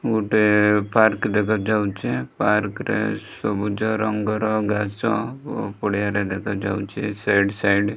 ଗୋଟେ ପାର୍କ ଦେଖାଯାଉଛି ପାର୍କ ରେ ସବୁଜ ରଙ୍ଗର ଘାସ ପଡ଼ିଆରେ ଦେଖାଯାଉଛି ସେ ସାଇଡ ସାଇଡ --